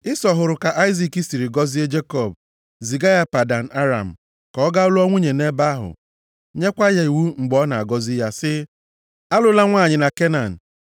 Ịsọ hụrụ ka Aịzik siri gọzie Jekọb, ziga ya Padan Aram ka ọ gaa lụọ nwunye nʼebe ahụ, nyekwa ya iwu mgbe ọ na-agọzi ya sị, “Alụla nwanyị na Kenan,”